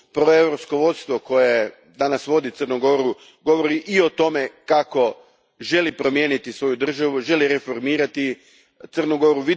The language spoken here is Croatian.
Proeuropsko vodstvo koje danas vodi Crnu Goru govori i o tome kako želi promijeniti svoju državu, želi reformirati Crnu Goru.